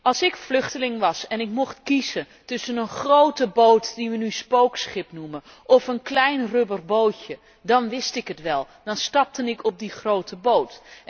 Als ik vluchteling was en ik mocht kiezen tussen een grote boot, die we nu spookschip noemen, of een klein rubberbootje, dan wist ik het wel, dan stapte ik op die grote boot.